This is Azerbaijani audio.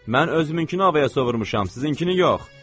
Mən özümünkünü havaya sovurmuşam, sizinkini yox.